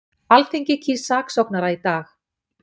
Alþingi kýs saksóknara í dag